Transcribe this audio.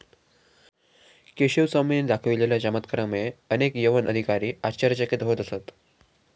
केशव स्वामींनी दाखवलेल्या चमत्कारामुळे अनेक यवन अधिकारी आश्चर्यचकित होत असत